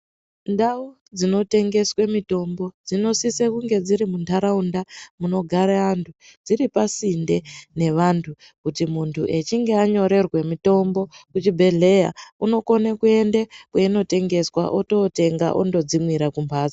Ndau dzinotengeswe mitombo dzinosisa kunge dziri muntharaunda munogare vanthu dziri pasinde nevanthu kuti munthu echinge anyorerwa mitombo muchibhedhleya unokone kuende kweinotengeswa ototenga otodzimwira kumbatso.